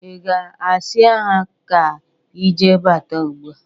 Ị ga-asia ha ka ije bata ugbụ a?